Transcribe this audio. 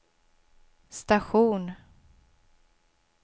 station